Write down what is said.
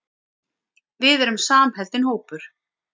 Við erum samheldinn hópur.